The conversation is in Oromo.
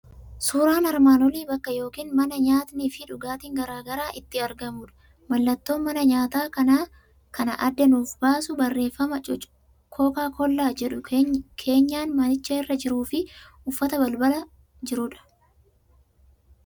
Suuraan armaan olii bakka yookiin mana nyaatnii fi dhugaatiin garaa garaa itti argamudha. Mallattoon mana nyaataa kana adda nuuf baasu barreeffama Cocacola' jedhu keenyan manichaa irra jiruu fi uffata balbala jirudha.